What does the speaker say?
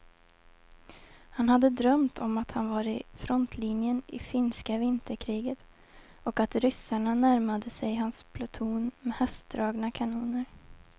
Han hade drömt om att han var i frontlinjen i finska vinterkriget och att ryssarna närmade sig hans pluton med hästdragna kanoner.